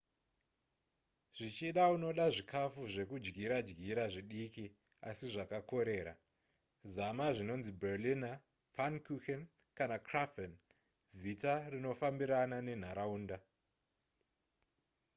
zvichida unoda zvikafu zvekudyira dyira zvidiki asi zvakakorera zama zvinonzi berliner pfannkuchen kana krapfen zita rinofambirana nenharaunda